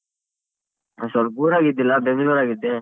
ಹ ಸೊಲ್ಪ್ ಊರಾಗಿದ್ದಿಲ್ಲ ಬೆಂಗ್ಳುರಾಗಿದ್ದೆ.